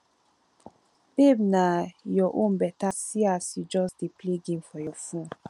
babe na your own beta see as you just dey play game for your phone